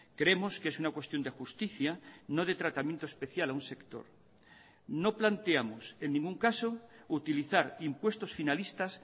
creemos que es una cuestión de justicia no de tratamiento especial a un sector no planteamos en ningún caso utilizar impuestos finalistas